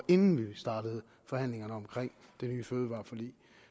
inden vi startede forhandlingerne om det nye fødevareforlig